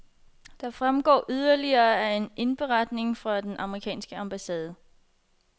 Det fremgår yderligere af en indberetning fra den amerikanske ambassade.